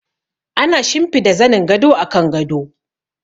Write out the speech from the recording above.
Ana shimfida zanin gado a kan gado.